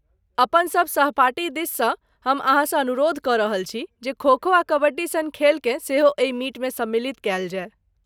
अपन सब सहपाठी दिससँ हम अहाँसँ अनुरोध कऽ रहल छी, जे खो खो आ कबड्डी सन खेलकेँ सेहो एहि मीटमे सम्मिलित कयल जाय।